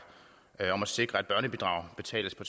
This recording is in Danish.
om at sikre at børnebidrag betales på